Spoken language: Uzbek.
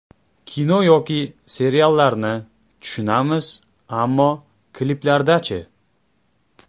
Kino yoki seriallarni tushunamiz, ammo kliplarda-chi?